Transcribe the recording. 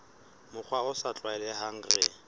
mokgwa o sa tlwaelehang re